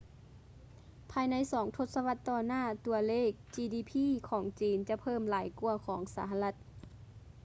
ພາຍໃນສອງທົດສະວັດຕໍ່ໜ້າ ຕົວເລກ ຈີດີພີ gdp ຂອງຈີນ ຈະເພີ່ມຫຼາຍກວ່າຂອງສະຫະລັດ